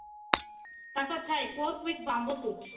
ତାଙ୍କର ଥାଏ bamboo soup